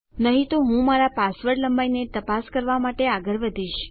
નહી તો હું મારા પાસવર્ડ લંબાઈને તપાસ કરવા માટે આગળ વધીશ